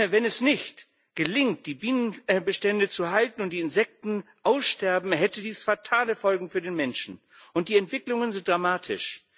Wenn es nicht gelingt, die Bienenbestände zu halten, und die Insekten aussterben, hätte dies fatale Folgen für den Menschen, und die Entwicklungen sind dramatisch.